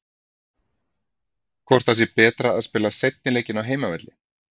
Hvort það sé betra að spila seinni leikinn á heimavelli?